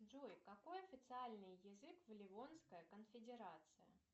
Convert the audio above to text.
джой какой официальный язык в ливонской конфедерации